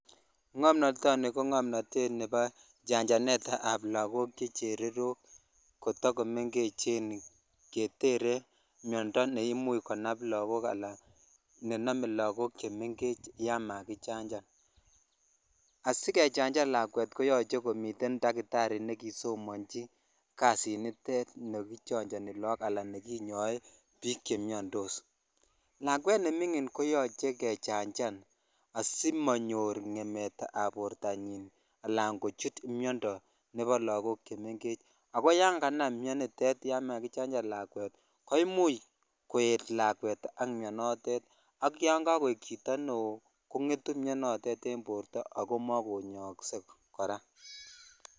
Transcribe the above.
Ng'omnotoni ko ng'omnotetab chanjanetab lokok che chererok koto ko meng'echen ketere miondo neimuch konam lokok alan nenome lokok chemeng'ech yoon makichanjan, asikechanjan lakwet konyolu komiten takitari nekisomonji kadinitet nekichonjoni look anan nekinyoe biik chemiondos, lakwet neming'in koyoche kechanjan asimonyor ngemetab bortanyin alaan kochut miondo nebo lokok chemeng'ech, ak ko yon kanam mionitet yon makichanjan lakwet koimuch koet lakwet ak mionitet ak yon kokoik chito neoo kongetu mionoton en borto ak ko mokonyookse kora.